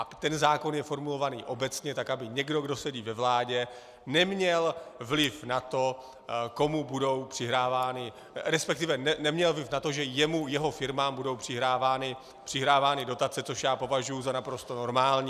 A ten zákon je formulovaný obecně, tak aby někdo, kdo sedí ve vládě, neměl vliv na to, komu budou přihrávány, respektive neměl vliv na to, že jemu, jeho firmám budou přihrávány dotace, což já považuji za naprosto normální.